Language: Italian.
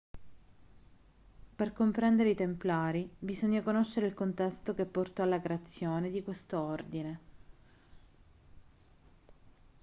per comprendere i templari bisogna conoscere il contesto che portò alla creazione di questo ordine